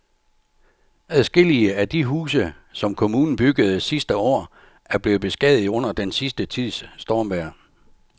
Adskillige af de huse, som kommunen byggede sidste år, er blevet beskadiget under den sidste tids stormvejr.